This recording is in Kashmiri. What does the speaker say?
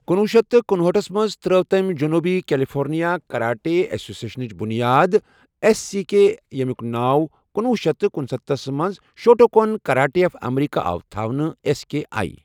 کُنوُہ شیتھ تہٕ کنُہاٹھس منٛز ترٲو تٔمۍ جٔنوٗبی کیلیفورنیا کراٹے ایسوسی ایشنٕچ بنیاد ایس سی کے اے یمیُک ناو کُنوُہ شیتھ تہٕ کنُستَتھس منٛز شوٹوکن کراٹے آف امریکا آو تھونہٕ ایس کے اے۔